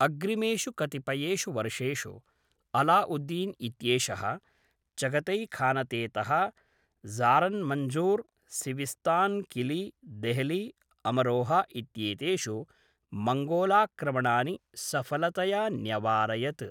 अग्रिमेषु कतिपयेषु वर्षेषु अलाउद्दीन् इत्येषः चगतैखानतेतः ज़ारन्मन्ज़ूर्, सिविस्तान्, किली, देहली, अमरोहा इत्येतेषु मङ्गोलाक्रमणानि सफलतया न्यवारयत्।